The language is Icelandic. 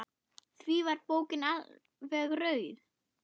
Því var bókin alveg auð.